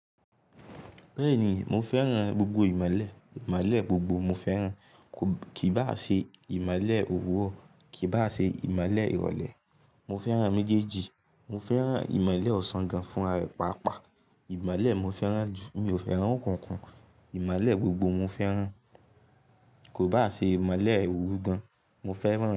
Bẹ́ẹ̀ni, mo fẹ́ràn gbogbo ìmolẹ̀, ìmolẹ̀ gbogbo mo fẹ́ràn, kì bá à ṣe ìmolẹ̀ òwuro, kì bá à ṣe ìmolẹ̀ ìrọ̀lẹ́. Mo fẹ́ràn méjèèjì, mo fẹ́ràn ìmolẹ̀ ọ̀sán gan fún rare pàápàá, ìmolẹ̀ mo fẹ́ràn jù, mi ò fẹ́ràn okunkun, ìmolẹ̀ gbogbo mo fẹ́ràn, kò bá à ṣe ìmolẹ̀ oru gan, mo fẹ́ràn.